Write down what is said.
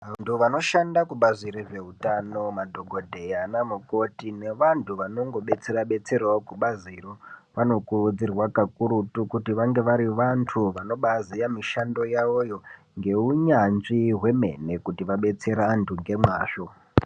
Vanhhu vanoshanda kubazi rezveutano madhokodheya ana mukoti nevanghu vanongodetsera detserao kubaziro vanokurudzirwa kakurutu kuti vange vari vanthu vanobaaziye mishando yavoyo ngeunyanzvi hwemene kuti vadetsere vanthu ngemazvo.